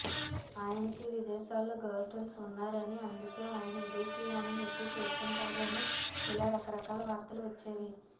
ఆయనకీ విదేశాల్లో girlfriends ఉన్నారని అందుకే ఆయన విదేశీయానం ఎక్కువ చేస్తుంటారు అని ఇలా రకరకాల వార్తలు వచ్చేవి